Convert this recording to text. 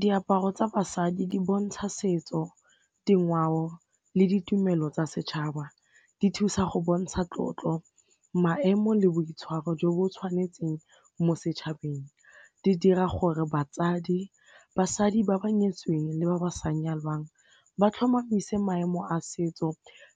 Diaparo tsa basadi di bontsha setso, dingwao le ditumelo tsa setšhaba, di thusa go bontsha tlotlo, maemo le boitshwaro jo bo tshwanetseng mo setšhabeng, di dira gore batsadi basadi ba ba nyetsweng le ba ba sa nyalwang ba tlhomamise maemo a setso